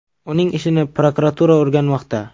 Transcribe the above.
Uning ishini prokuratura o‘rganmoqda.